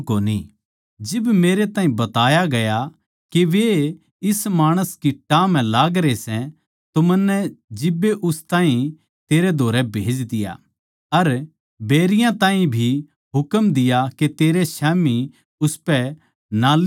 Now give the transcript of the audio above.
जिब मेरै ताहीं बताया गया के वे इस माणस की टाह म्ह लागरे सै तो मन्नै जिब्बे उस ताहीं तेरै धोरै भेज दिया अर बैरियाँ ताहीं भी हुकम दिया के तेरै स्याम्ही उसपै नालिश करै